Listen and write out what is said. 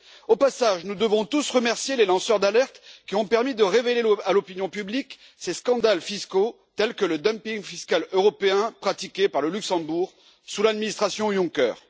Au passage, nous devons tous remercier les lanceurs d'alerte, qui ont permis de révéler à l'opinion publique ces scandales fiscaux, tels que le dumping fiscal européen pratiqué par le Luxembourg sous le gouvernement de M. Juncker.